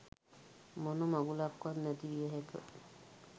මොන මගුලක්වත් නැති විය හැක.